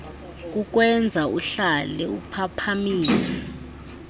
kukwenza uhlale uphaphamile